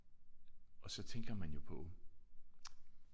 Og så tænker man jo på